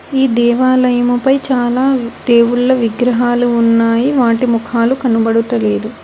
ఈ దేవాలయముపై చాలా దేవుళ్ళ విగ్రహాలు ఉన్నాయి వాటి ముఖాలు కనబడుటలేదు.